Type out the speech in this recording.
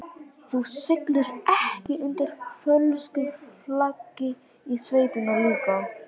Þú siglir ekki undir fölsku flaggi í sveitinni líka?